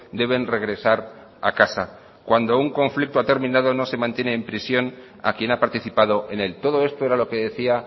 deben regresar a casa cuando un conflicto ha terminado no se mantiene en prisión a quien ha participado en él todo esto era lo que decía